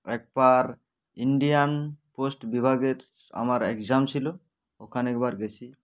একবার indian post বিভাগের আমার exam ছিল ওখানে একবার গেছি